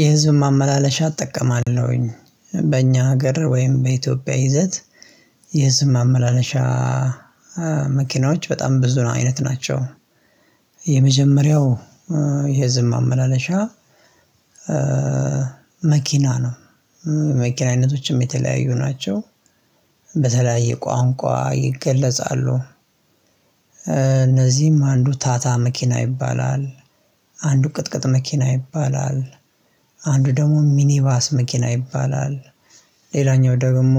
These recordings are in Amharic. የህዝብ ማመላለሻ እጠቀማለሁኝ በእኛ ሀገር ወይም በኢትዮጵያ ይዘት። የህዝብ ማመላለሻ መኪናዎች በጣም ብዙ አይነት ናቸው። የመጀመሪያው የህዝብ ማመላለሻ። መኪና ነው። መኪና አይነቶችም የተለያዩ ናቸው። በተለያየ ቋንቋ ይገለጻሉ። ከነዚህም አንዱ ታታ መኪና ይባላል። አንዱ ቅጥቅጥ መኪና ይባላል። አንዱ ደግሞ ሚኒባስ መኪና ይባላል። ሌላኛው ደግሞ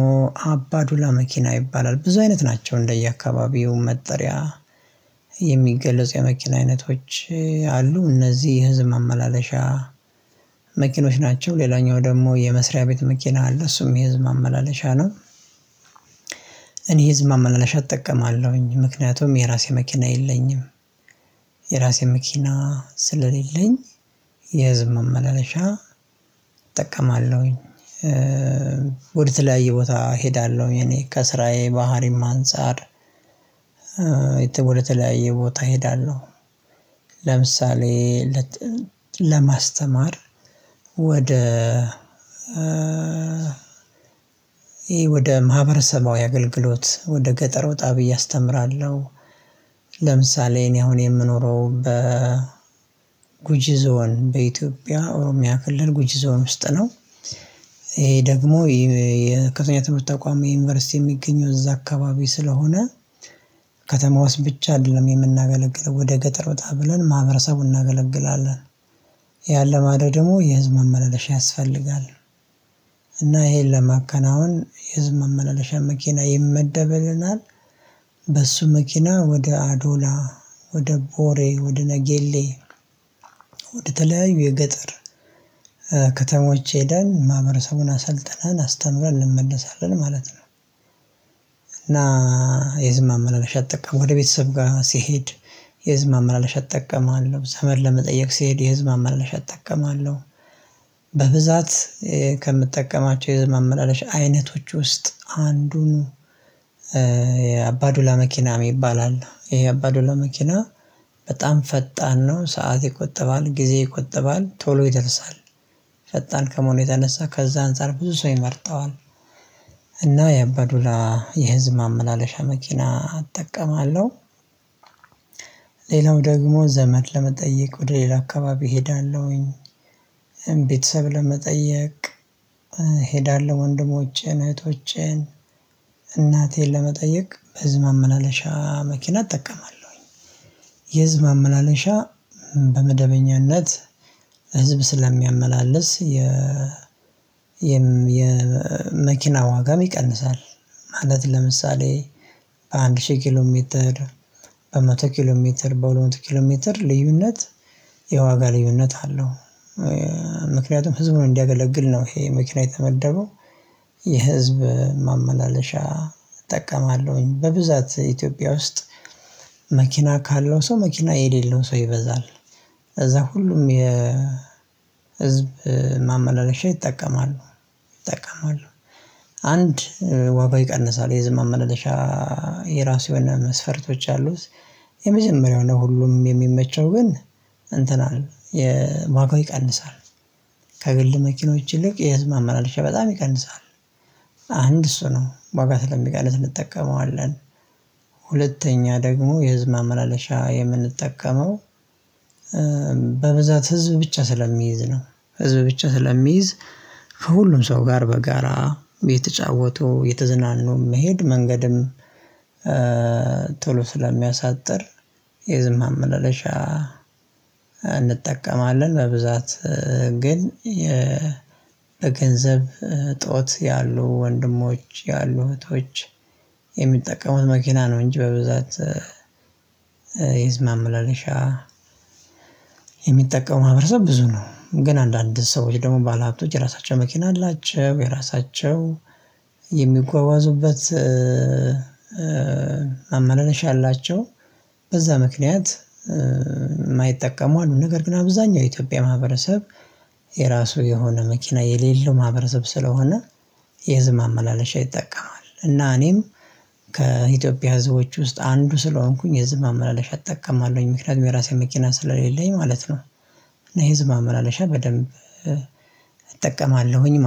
አባዱላ መኪና ይባላል። ብዙ አይነት ናቸው እንደየአካባቢው መጠሪያ የሚገለጹ የመኪና አይነቶች አሉ። እነዚህ የህዝብ ማመላለሻ መኪኖች ናቸው። ሌላኛው ደግሞ የመስሪያ ቤት መኪና አለ እሱም የህዝብ ማመላለሻ ነው። እኔ የህዝብ ማመላለሻ እጠቀማለሁኝ ምክንያቱም የራሴ መኪና የለኝም። የራሴ መኪና ስለሌለኝ የህዝብ መመለሻ እጠቀማለሁኝ። ወደ ትላይ ቦታ እሄዳለሁኝ እኔ ከስራዬ ባህሪም አንፃር ወደ ተለያየ ቦታ እሄዳለሁ። ለምሳሌ ለማስተማር ወደ ይሄ ወደ ማህበረሰባዊ አገልግሎት ወደ ገጠር ወጣ ብዬ አስተምራለሁ። ለምሳሌ እኔ አሁን የምኖረው በ ጉጂ ዞን በኢትዮጵያ ኦሮሚያ ክልል ጉጂ ዞን ውስጥ ነው። ይሄ ደግሞ የከተማ ተቋም የዩኒቨርሲቲ የሚገኘው እዛ አካባቢ ስለሆነ ከተማ ውስጥ ብቻ አይደለም የምናገለግለው ወደ ገጠር ወጣ ብለን ማህበረሰቡን እናገለግላለን። ያን ለማድረግ ደግሞ የህዝብ ማመላለሻ ያስፈልጋል። እና ይሄን ለማከናወን የህዝብ መመላለሻ መኪና ይመደብልናል። በሱ መኪና ወደ አዶላ ወደ ቦሬ ወደ ነገሌ ወደተለያዩ የገጠር ከተሞች ሄደን ማህበረሰቡን አሰልጥነን አስተምረን እንመልሳለን ማለት ነው። እና የህዝብ ማመላለሻ እጠቀምአለሁ ወደ ቤተሰብ ጋር ሲሄድ የህዝብ ማመላለሻ እጠቀምለው ዘመድ ለመጠየቅ ሲሄድ የህዝብ ማመላለሽ እጠቀማለሁ። በብዛት ከምጠቀማቸው የህዝብ የህዝብ ማመላለሻ አይነቶች ውስጥ አንዱን የአባዱላ መኪና ይባላል። ይሄ የህ አባዱላ መኪና በጣም ፈጣን ነው ሰዓት ይቆጠባል ጊዜ ይቆጠባል ቶሎ ይደርሳል። ፈጣን ከመሆኑ የተነሳ ከዛ አንፃር ብዙ ሰው ይመርጠዋል። እና የአባዱላ የህዝብ ማመላለሻ መኪና አጠቀማለሁ። ሌላው ደግሞ ዘመድ ለመጠየቅ ወደ ሌላ አካባቢ እሄዳለሁኝ ቤተሰብ ለመጠየቅ እሄዳለሁ ወንድሞቼን እህቶቼን እናቴን ለመጠየቅ በህዝብ ማመላለሻ መኪና እጠቀማለሁኝ። የህዝብ ማመላለሻ በመደበኛነት ህዝብ ስለሚያመላልስ የ የመኪና ዋጋ ይቀንሳል። ማለት ለምሳሌ በአንድ ሺህ ኪሎ ሜትር በመቶ ኪሎ ሜትር በሁለት መቶ ኪሎ ሜትር ልዩነት የዋጋ ልዩነት አለው። ምክንያቱም ህዝቡን እንዲያገለግል ነው ይሄ መኪና የተመደበው። የህዝብ ማመላለሻ እጠቀማለሁኝ በብዛት ኢትዮጵያ ውስጥ መኪና ካለው ሰው መኪና የሌለው ሰው ይበዛል። ከዛ ሁሉም የህዝብ ማመላለሻ ይጠቀማሉ ይጠቀማሉ። አንድ ዋጋው ይቀንሳል የህዝብ ማመላለሻ የራሱ የሆነ መስፈርቶች አሉት። የመጀመሪያው ነው ሁሉም የሚመቸው ግን እንትናለን የ ዋጋው ይቀንሳል። ከግል መኪኖች ይልቅ የህዝብ ማመላለሻ በጣም ይቀንሳል። አንድ እሱ ነው ዋጋ ስለሚቀንስ እንጠቀመዋለን። ሁለተኛ ደግሞ የህዝብ ማመላለሻ የምንጠቀመው በብዛት ህዝብ ብቻ ስለሚይዝ ነው። ህዝብ ብቻ ስለሚይዝ ከሁሉም ሰው ጋር በጋራ እየተጫወቱ እየተዝናኑ መሄድ መንገድም ቶሎ ስለሚያሳጥር የህዝብ ማመላለሻ እንጠቀማለን። በብዛት ግን የ በገንዘብ እጦት ያሉ ወንድሞች ያሉ እህቶች የሚጠቀሙት መኪና ነው። እንጂ በብዛት የህዝብ ማመላለሻ የሚጠቀሙ ማህበረሰብ ብዙ ነው። ግን አንዳንድ ሰዎች ደግሞ ባለሀብቶች የራሳቸው መኪና አላቸው። የራሳቸው የሚጓጓዙበት ማመላለሻ አላቸው። በዛ ምክንያት የማይጠቀሙ አሉ። ነገር ግን አብዛኛው የኢትዮጵያ ማህበረሰብ የራሱ የሆነ መኪና የሌለው ማህበረሰብ ስለሆነ የህዝብ ማመላለሻ ይጠቀማል። እና እኔም ከኢትዮጵያ ህዝቦች ውስጥ አንዱ ስለሆንኩኝ የህዝብ ማመላለሻ እጠቀማለሁኝ ምክንያቱም የራሴ መኪና ስለሌለኝ ማለት ነው። የህዝብ ማመላለሻ በደንብ እጠቀማለሁኝ